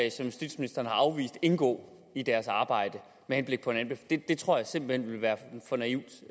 justitsministeren har afvist indgå i deres arbejde med henblik på en anbefaling det tror jeg simpelt hen vil være for naivt